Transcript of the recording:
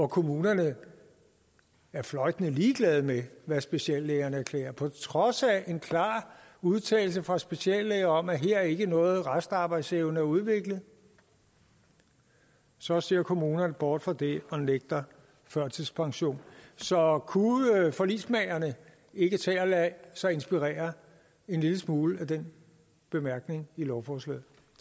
kommunerne er fløjtende ligeglade med hvad speciallægerne erklærer på trods af en klar udtalelse fra speciallæger om at her er ikke nogen restarbejdsevne at udvikle så ser kommunerne bort fra det og nægter førtidspension så kunne forligsmagerne ikke tage og lade sig inspirere en lille smule af den bemærkning i lovforslaget